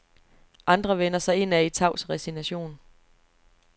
Andre vender sig indad i tavs resignation.